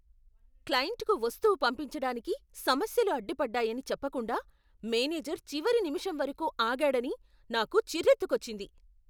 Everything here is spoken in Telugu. క్లయింట్కు వస్తువు పంపించడానికి సమస్యలు అడ్డుపడ్డాయని చెప్పకుండా మేనేజర్ చివరి నిమిషం వరకు ఆగాడని నాకు చిరెత్తుకొచ్చింది.